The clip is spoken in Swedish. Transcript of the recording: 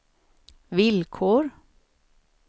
villkor